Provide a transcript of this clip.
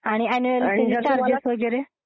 आणि अन्युअल त्याचे चार्जेस वगैरे?